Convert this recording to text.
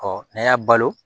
Ɔ n'a y'a balo